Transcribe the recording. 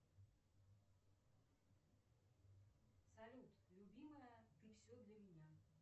салют любимая ты все для меня